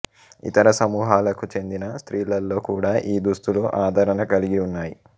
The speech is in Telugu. ఇతర సమూహాలకు చెందిన స్త్రీలలో కూడా ఈ దుస్తులు ఆదరణ కలిగి ఉన్నాయి